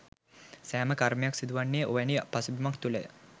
සෑම කර්මයක්ම සිදුවන්නේ ඔවැනි පසුබිමක් තුළය.